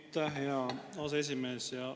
Aitäh, hea aseesimees!